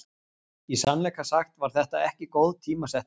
Í sannleika sagt var þetta ekki góð tímasetning.